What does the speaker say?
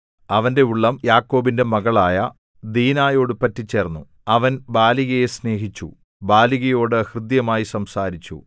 അവന്റെ ഉള്ളം യാക്കോബിന്റെ മകളായ ദീനായോടു പറ്റിച്ചേർന്നു അവൻ ബാലികയെ സ്നേഹിച്ചു ബാലികയോടു ഹൃദ്യമായി സംസാരിച്ചു